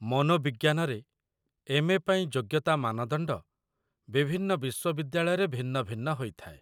ମନୋବିଜ୍ଞାନରେ MA. ପାଇଁ ଯୋଗ୍ୟତା ମାନଦଣ୍ଡ ବିଭିନ୍ନ ବିଶ୍ୱବିଦ୍ୟାଳୟରେ ଭିନ୍ନ ଭିନ୍ନ ହୋଇଥାଏ।